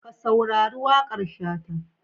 Ka saurari waƙar Shata.